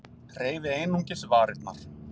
Hreyfi einungis varirnar.